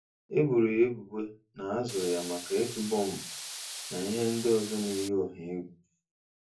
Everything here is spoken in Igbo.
E boro ya ebubo na a zụrụ ya maka ịtụ bọmbụ na ihe ndị ọzọ na-eyi ọha egwu.